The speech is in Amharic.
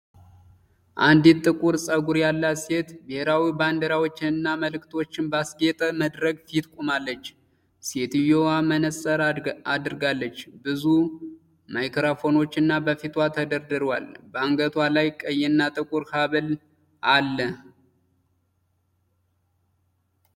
አንዲት ጥቁር ፀጉር ያላት ሴት ብሔራዊ ባንዲራዎችንና ምልክቶችን ባስጌጠ መድረክ ፊት ቆማለች። ሴትየዋ መነፅር አድርጋለች፤ ብዙ ማይክሮፎኖች በፊቷ ተደርድረዋል። በአንገቷ ላይ ቀይና ጥቁር ሐብል አለ።